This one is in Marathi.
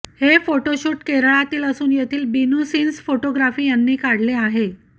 हे फोटोशूट केरळातील असून येथील बिनु सीन्स फोटोग्राफी यांनी काढले आहेत